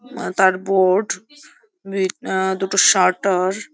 আ তার board B আ দুটো সাটার --